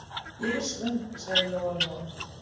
Ég er svöng, sagði Lóa-Lóa.